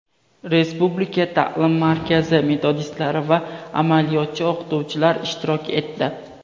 Respublika ta’lim markazi metodistlari va amaliyotchi o‘qituvchilar ishtirok etdi.